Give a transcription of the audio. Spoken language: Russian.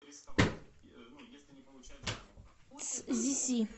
цзиси